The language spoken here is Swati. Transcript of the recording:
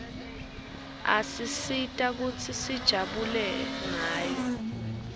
isisita kutsi sijabule ngayo